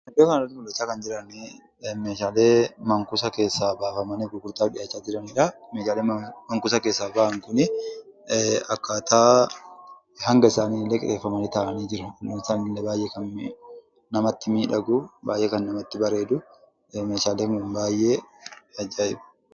Iddoo kanatti mul'achaa kan jiranii, Meeshaalee man-kuusaa keessaa baafamanii gurgurtaaf dhihaachaa jiranidha. Meeshaaleen man-kuusaa keessaa bahan kunii akkaataa hanga isaanii illee keewwamanii kan taa'anii, hangi isaanii illee baayyee kan namatti miidhaguu, baayyee kan namatti bareeduu meeshaaleen Kun baayyee ajaa'iba.